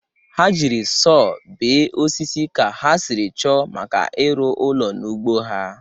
Ha jiri sọọ bee osisi ka ha sịrị chọọ maka ịrụ ụlọ n'ugbo ha.